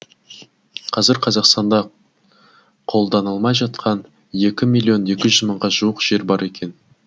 қазір қазақстанда қолданылмай жатқан екі миллион екі жүз мыңға жуық жер бар екен